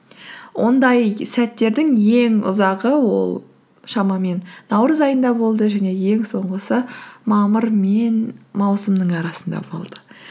ондай сәттердің ең ұзағы ол шамамен наурыз айында болды және ең соңғысы мамыр мен маусымның арасында болды